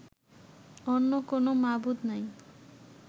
অন্য কোনও মাবুদ নাই